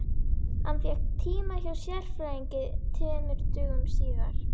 Hann fékk tíma hjá sérfræðingi tveimur dögum síðar.